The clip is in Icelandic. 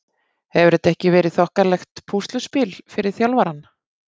Hefur þetta ekki verið þokkalegt púsluspil fyrir þjálfarann?